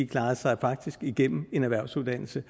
klarede sig igennem en erhvervsuddannelse